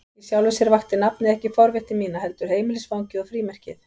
Í sjálfu sér vakti nafnið ekki forvitni mína, heldur heimilisfangið og frímerkið.